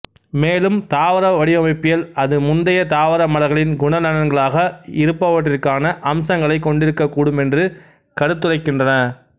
மேலும் தாவர வடிவமைப்பியல் அது முந்தைய தாவர மலர்களின் குணநலன்களாக இருப்பவற்றிற்கான அம்சங்களைக் கொண்டிருக்கக்கூடும் என்று கருத்துரைக்கின்றன